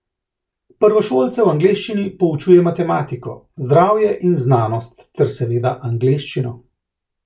Prvošolce v angleščini poučuje matematiko, zdravje in znanost ter seveda angleščino.